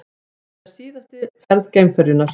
Þetta er síðasta ferð geimferjunnar